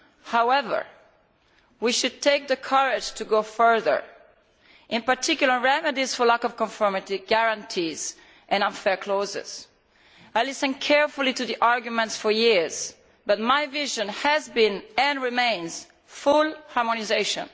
However, we must have the courage to go further, in particular on remedies for lack of conformity, guarantees and unfair clauses. I have listened carefully to the arguments for years, but my vision has been and remains full harmonisation.